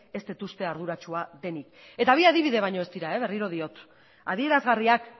ez dut uste arduratsua denik eta bi adibide baino ez dira berriro diot adierazgarriak